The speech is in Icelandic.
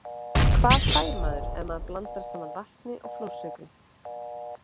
Hvað fær maður ef maður blandar saman vatni og flórsykri?